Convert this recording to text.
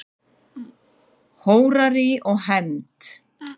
Hórarí og hefnd?